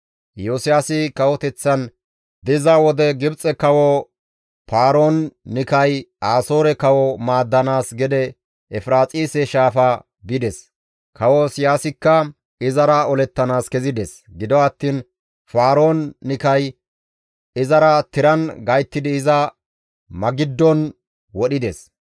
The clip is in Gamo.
Iyosiyaasi kawoteththan diza wode Gibxe kawo Faroon-Nikay Asoore kawo maaddanaas gede Efiraaxise shaafa bides; kawo Iyosiyaasikka izara olettanaas kezides; gido attiin Faroon-Nikay izara tiran gayttidi iza Magiddon wodhides.